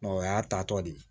o y'a ta tɔ de ye